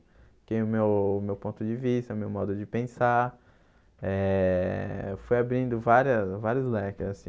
Porque o meu meu ponto de vista, o meu modo de pensar eh, fui abrindo várias vários leques, assim.